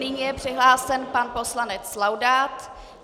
Nyní je přihlášen pan poslanec Laudát...